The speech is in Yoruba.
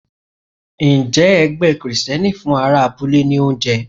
Ǹjẹ́ ẹgbẹ́ Kristẹni fún ará abúlé ní oúnjẹ?